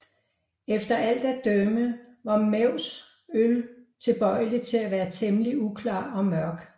Efter alt at dømme var Mews øl tilbøjelig til at være temmelig uklar og mørk